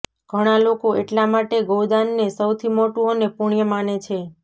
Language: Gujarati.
ઘણા લોકો એટલા માટે ગૌદાનને સૌથી મોટું અને પુણ્ય માને છે